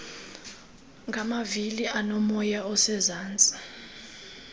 ngamavili aonomoya osezantsi